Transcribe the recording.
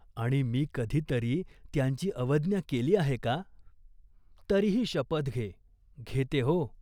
आणि मी कधी तरी त्यांची अवज्ञा केली आहे का ?" "तरीही शपथ घे." "घेते हो.